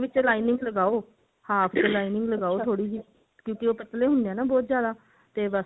ਉਹਦੇ ਵਿੱਚ lining ਲਗਾਓ ਹਾਂ ਥੋੜੀ ਜੀ ਕਿਉਂਕਿ ਇਹ ਪਤਲੇ ਹੁੰਦੇ ਨੇ ਬਹੁਤ ਜਿਆਦਾ ਤੇ ਬਸ